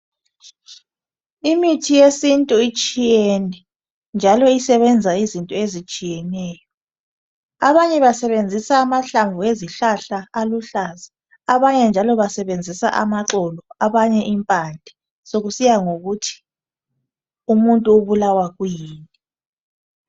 Imithi yesintu itshiyene. Njalo isebenza izinto ezitshiyeneyo. Abanye basebenzisa amahlamvu ezihlahla aluhlaza. Abanye njalo basebenzisa amaxolo abanye impande. Sokusiya ngokuthi umuntu ubulawa kuyini.